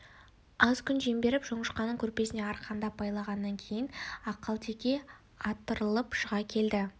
аз күн жем беріп жоңышқаның көрпесіне арқандап байлағаннан кейін ақалтеке атырылып шыға келді